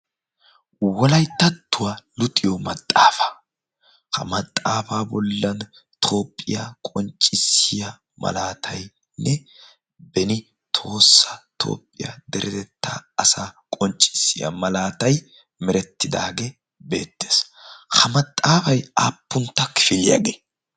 wolaittattuwaa luxiyo maxaafaa. ha maxaafaa bollan toophphiyaa qonccissiya malaatainne beni toosa toophphiyaa deredetta asa qonccissiya malaatai merettidaagee beettees .ha maxaafai aappuntta kifiiliyaagee?